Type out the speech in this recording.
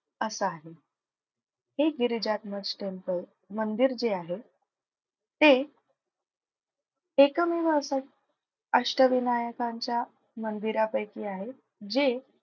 असं आहे. हे गिरिजात्मज temple मंदिर जे आहे ते एकमेव असं अष्टविनायकांच्या मंदिरापैकी आहे जे,